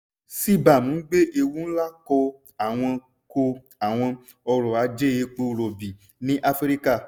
cbam ń gbé ewu ńlá kọ àwọn kọ àwọn ọ̀rọ̀ ajé epo rọ̀bì ní áfíríkà.